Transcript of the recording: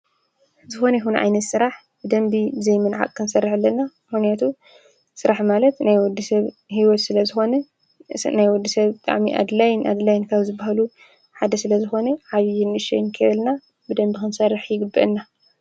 ዝኮነ ይኩን ዓይነት ስራሕ ብደንቢ ብዘይምንዓቅ ክንሰርሕ ኣለና፤ ምክንያቱ ስራሕ ማለት ናይ ወዲሰብ ሂወት ስለዝኮነ ናይ ወዲሰብ ብጣዕሚ ኣድላይን ኣድላይን ካብ ዝብሃሉ ሓደ ስለዝኮነ ዓብይን ንእሽተይ ከይበልና ብደንቢ ክንሰርሕ ይግበእና።